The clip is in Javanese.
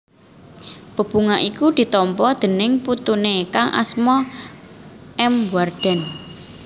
Bebungah iku ditampa déning putune kang asma M Wardan